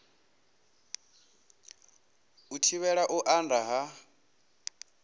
u thivhela u anda ha